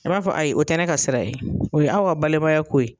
A b'a fɔ a ayi o tɛ ne ka sira ye, o ye aw ka balimaya ko ye.